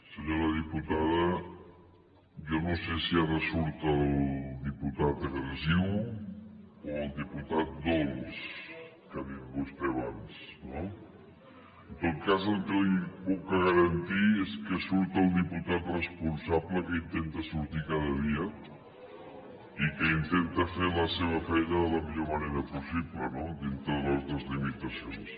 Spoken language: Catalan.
senyora diputada jo no sé si ara surt el diputat agressiu o el diputat dolç que ha dit vostè abans no en tot cas el que li puc garantir és que surt el diputat responsable que intenta sortir cada dia i que intenta fer la seva feina de la millor manera possible no dintre de les nostres limitacions